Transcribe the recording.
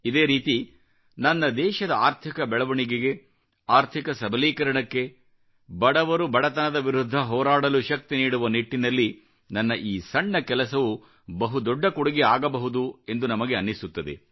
ಇದೇ ರೀತಿ ನನ್ನ ದೇಶದ ಆರ್ಥಿಕ ಬೆಳವಣಿಗೆಗೆ ಆರ್ಥಿಕ ಸಬಲೀಕರಣಕ್ಕೆ ಬಡವರು ಬಡತನದ ವಿರುದ್ಧ ಹೋರಾಡಲು ಶಕ್ತಿ ನೀಡುವ ನಿಟ್ಟಿನಲ್ಲಿ ನನ್ನ ಈ ಸಣ್ಣ ಕೆಲಸವು ಬಹು ದೊಡ್ಡ ಕೊಡುಗೆ ಆಗಬಹುದು ಎಂದು ನಮಗೆ ಅನ್ನಿಸುತ್ತದೆ